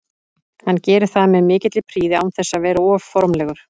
Hann gerir það með mikilli prýði án þess að vera of formlegur.